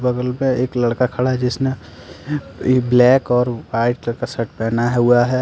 बगल में एक लड़का खड़ा है जिसने ब्लैक और वाइट कलर का शर्ट पहना हुआ है।